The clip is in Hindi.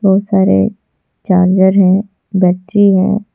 बहुत सारे चार्जर है बैटरी हैं।